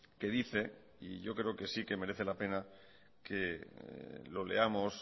que dice y yo creo que sí que merece la pena que lo leamos